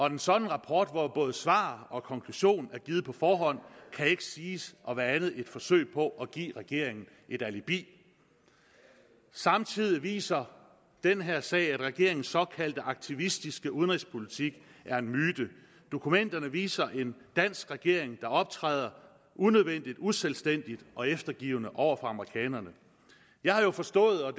en sådan rapport hvor både svar og konklusion er givet på forhånd kan ikke siges at være andet end et forsøg på at give regeringen et alibi samtidig viser den her sag at regeringens såkaldt aktivistiske udenrigspolitik er en myte dokumenterne viser en dansk regering der optræder unødvendigt uselvstændigt og eftergivende over for amerikanerne jeg har jo forstået at